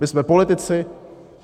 My jsme politici.